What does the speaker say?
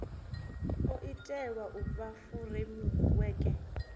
o itelwa u fha furemiweke